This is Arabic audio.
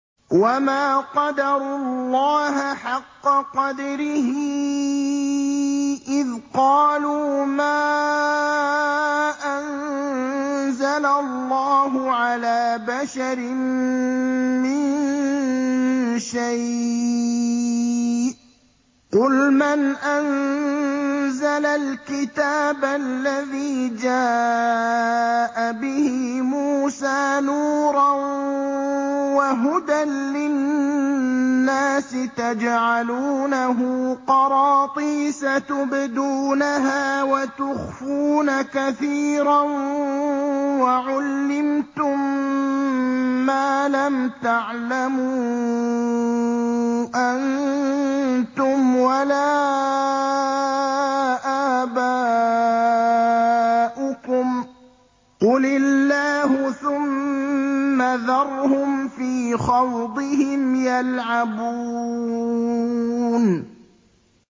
وَمَا قَدَرُوا اللَّهَ حَقَّ قَدْرِهِ إِذْ قَالُوا مَا أَنزَلَ اللَّهُ عَلَىٰ بَشَرٍ مِّن شَيْءٍ ۗ قُلْ مَنْ أَنزَلَ الْكِتَابَ الَّذِي جَاءَ بِهِ مُوسَىٰ نُورًا وَهُدًى لِّلنَّاسِ ۖ تَجْعَلُونَهُ قَرَاطِيسَ تُبْدُونَهَا وَتُخْفُونَ كَثِيرًا ۖ وَعُلِّمْتُم مَّا لَمْ تَعْلَمُوا أَنتُمْ وَلَا آبَاؤُكُمْ ۖ قُلِ اللَّهُ ۖ ثُمَّ ذَرْهُمْ فِي خَوْضِهِمْ يَلْعَبُونَ